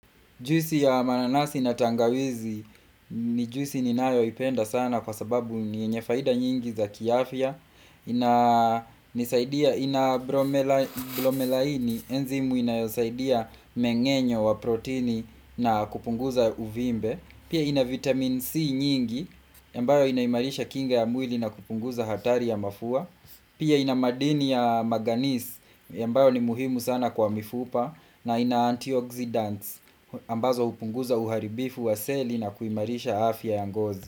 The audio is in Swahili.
Juisi ya mananasi na tangawizi ni juisi ninayoipenda sana kwa sababu ni yenye faida nyingi za kiafya ina bromelaini, enzimu inayosaidia mmengenyo wa protini na kupunguza uvimbe. Pia, ina vitamini C nyingi, ambayo inaimarisha kinga ya mwili na kupunguza hatari ya mafua. Pia, ina madini ya manganisi, ambayo ni muhimu sana kwa mifupa na ina antioxidants ambazo hupunguza uharibifu wa seli na kuimarisha afya ya ngozi.